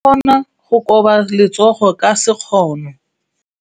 O ka kgona go koba letsogo ka sekgono.